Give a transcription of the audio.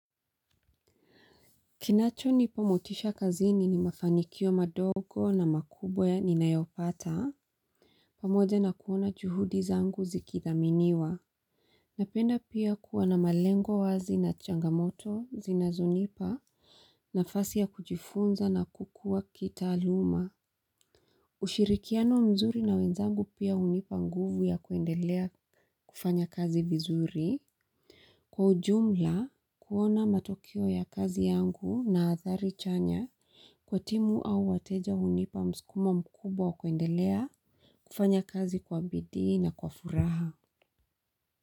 Kinacho nipa motisha kazini ni mafanikio madogo na makubwa ya ninayopata. Pamoja na kuona juhudi zangu zikidhaminiwa. Napenda pia kuwa na malengo wazi na changamoto zinazonipa nafasi ya kujifunza na kukua kitaaluma. Ushirikiano mzuri na wenzangu pia hunipa nguvu ya kuendelea kufanya kazi vizuri. Kwa ujumla kuona matukio ya kazi yangu na athari chanya kwa timu au wateja unipa mskumo mkubwa kuendelea kufanya kazi kwa bidii na kwa furaha.